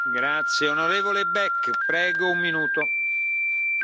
Herr Präsident, sehr geehrte Frau Ministerin!